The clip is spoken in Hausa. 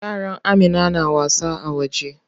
Yaran Amina na wasa a waje.